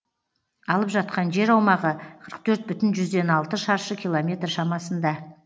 алып жатқан жер аумағы қырық төрт бүтін жүзден алты шаршы километр шамасында